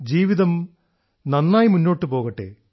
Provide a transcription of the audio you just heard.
ജീവിതം നന്നായി മുന്നോട്ടു പോകട്ടെ